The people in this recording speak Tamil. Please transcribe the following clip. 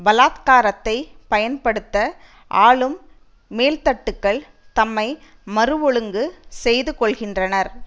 பலாத்காரத்தை பயன்படுத்த ஆளும் மேல்தட்டுக்கள் தம்மை மறு ஒழுங்கு செய்து கொள்கின்றனர்